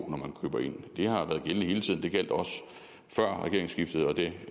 når man køber ind det har været gældende hele tiden det gjaldt også før regeringsskiftet og det